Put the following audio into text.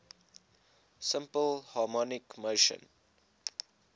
simple harmonic motion